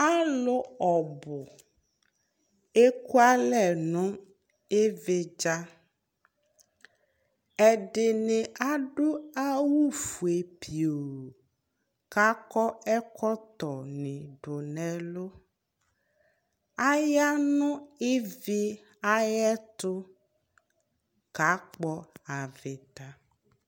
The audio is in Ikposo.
alò ɔbu eku alɛ no ividza ɛdini adu awu fue pio k'akɔ ɛkɔtɔ ni do n'ɛlu aya n'ivi ayi ɛto ka kpɔ avita